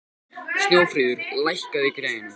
Snjófríður, lækkaðu í græjunum.